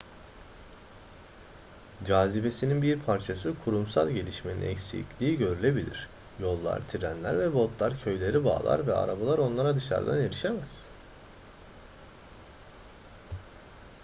cazibesinin bir parçası kurumsal gelişmenin eksikliği görülebilir yollar trenler ve botlar köyleri bağlar ve arabalar onlara dışarıdan erişemez